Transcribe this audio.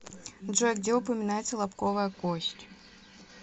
джой где упоминается лобковая кость